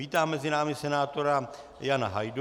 Vítám mezi námi senátora Jana Hajdu.